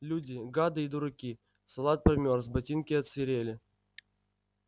люди гады и дураки салат промёрз ботинки отсырели